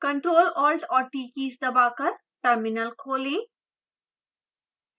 ctrl alt और t keys दबाकर terminal खोलें